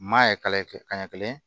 Maa ye kala kɛ ka ɲɛ kelen